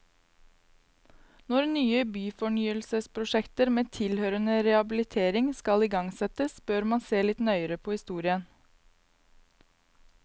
Når nye byfornyelsesprosjekter med tilhørende rehabilitering skal igangsettes, bør man se litt nøyere på historien.